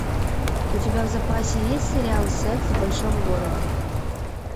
у тебя в запасе есть сериал секс в большом городе